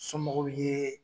Somɔgɔw ye